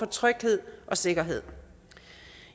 tryghed og sikkerhed